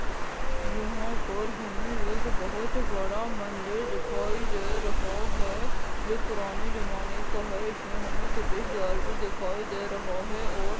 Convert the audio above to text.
यहाँ पर हमें एक बहुत बड़ा मंदिर दिखायी दे रहा है जो पुराने ज़माने का है इसमें हमें प्रवेश द्वार भी दिखाई दे रहा है और --